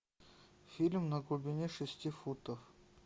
фильм на глубине шести футов